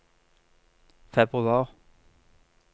februar